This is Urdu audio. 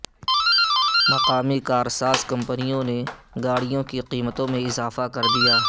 مقامی کار ساز کمپنی نے گاڑیوں کی قیمتوں میں اضافہ کردیا